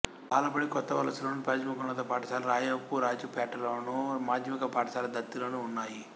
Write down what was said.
బాలబడి కొత్తవలసలోను ప్రాథమికోన్నత పాఠశాల రాయపురాజుపేటలోను మాధ్యమిక పాఠశాల దత్తిలోనూ ఉన్నాయి